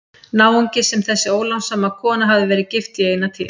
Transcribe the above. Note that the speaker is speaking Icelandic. Náungi sem þessi ólánssama kona hafði verið gift í eina tíð.